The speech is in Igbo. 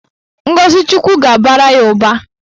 Ngọzi Chukwu ga-abara ya ụba.